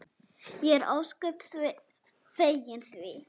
Ég er ósköp fegin því.